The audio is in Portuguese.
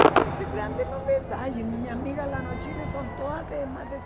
Eu pensei, grande novidade, minha amiga lá no Chile são todas de mais de